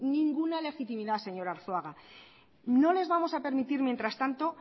ninguna legitimidad señor arzuaga no les vamos a permitir mientras tanto